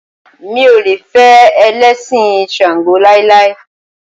Mi ò lè fẹ́ Ẹlẹ́sìn ṣàǹgó láíláí.